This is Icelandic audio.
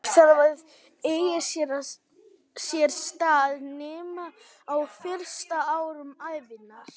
Inngrip þarf að eiga sér stað snemma, á fyrstu árum ævinnar.